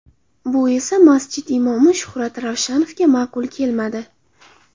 Bu esa masjid imomi Shuhrat Ravshanovga ma’qul kelmadi.